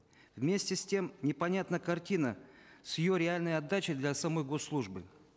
вместе с тем непонятна картина с ее реальной отдачей для самой госслужбы